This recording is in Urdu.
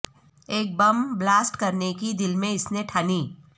ایک بم بلاسٹ کرنے کی دل میں اس نے ٹھانی